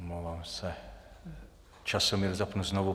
Omlouvám se, časomíru zapnu znovu.